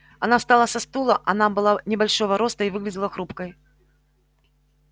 она встала со стула она была небольшого роста и выглядела хрупкой